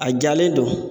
A jalen don